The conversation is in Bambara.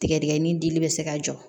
Tigɛdigɛni dili bɛ se ka jɔ